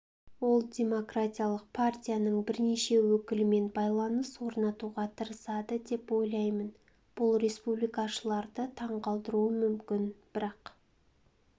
ол демократиялық партияның бірнеше өкілімен байланыс орнатуға тырысады деп ойлаймын бұл республикашыларды таңғалдыруы мүмкін бірақ